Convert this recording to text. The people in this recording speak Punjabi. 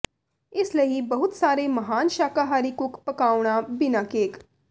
ਇਸ ਲਈ ਬਹੁਤ ਸਾਰੇ ਮਹਾਨ ਸ਼ਾਕਾਹਾਰੀ ਕੁੱਕ ਪਕਾਉਣਾ ਬਿਨਾ ਕੇਕ